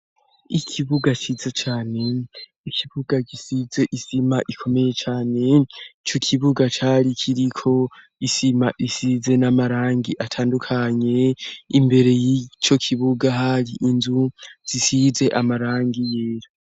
Ikibuga cize cane ikibuga gisize isima ikomeye cane ico ikibuga cari kiriko isima isize n'amarangi atandukanye imbere y'ico kibuga hari inzu zisize amarangi yera.